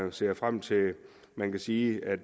og ser frem til at man kan sige at